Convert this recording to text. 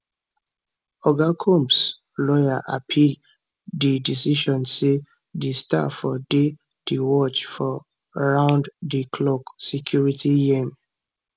oga comps lawyer appeal di decision say di star fo dey di watch of round di clock security yeam